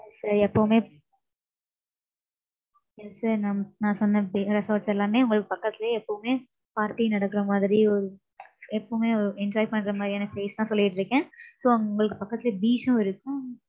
எப்பவுமே, sir நான் நான் சொன்ன, bea~ resorts எல்லாமே உங்களுக்கு பக்கத்துலயே எப்பவுமே party நடக்கிற மாதிரி, எப்பவுமே ஒ~ enjoy பண்ற மாதிரியான place தான் சொல்லிட்டு இருக்கேன். So உங்களுக்கு பக்கத்துல beach சும் இருக்கும்.